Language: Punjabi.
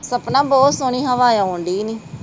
ਸਪਨਾ ਬਹੁਤ ਸੋਹਣੁ ਹਵਾ ਆਉਂਦੀ ਈਓ ਨੀ